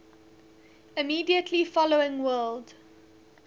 immediately following world